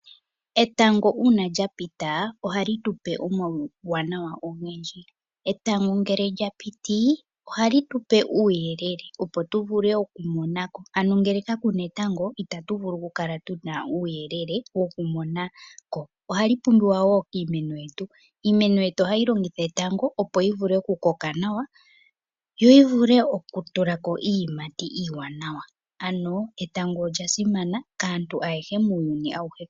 Etango uuna lyapita, ohali tu pe omauwaanawa ogendji. Etango ngele lya piti ohali tupe uuyelele, opo tu vule oku mona ko, ano ngele kaku na etango itatu vulu oku kala tu na uuyelele woku mona ko. Ohali pumbiwa wo kiimeno yetu. Iimeno yetu ohayi longitha etango, opo yi vule oku koka nawa, yo yi vule oku tula ko iiyimati iiwaanawa. Ano etango olya simana kaantu ayehe , muuyuni awuhe.